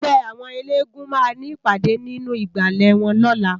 Ègbè áwòn éléègúùn má ni ipàdé ninú igbále wòn lòlá